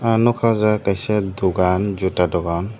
ang nugkha aw jaaga o kaisa dugan juta dogan.